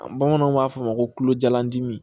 An bamananw b'a fɔ a ma kolo jalandimi